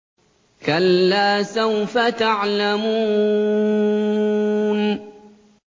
كَلَّا سَوْفَ تَعْلَمُونَ